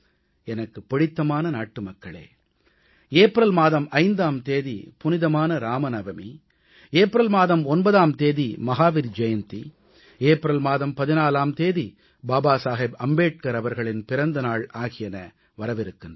எனக்குப் பிடித்தமான நாட்டுமக்களே ஏப்ரல் மாதம் 5ஆம் தேதி புனிதமான இராமநவமி ஏப்ரல் மாதம் 9ஆம் தேதி மகாவீர் ஜெயந்தி ஏப்ரல் மாதம் 14ஆம் தேதி பாபா சாகிப் அம்பேத்கர் அவர்களின் பிறந்த நாள் ஆகியன வரவிருக்கின்றன